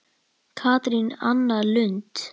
Katrín Anna Lund.